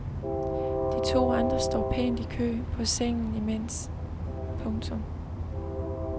De to andre står pænt i kø på sengen imens. punktum